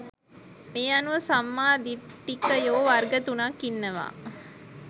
මේ අනුව සම්මා දිට්ඨිකයෝ වර්ග තුනක් ඉන්නවා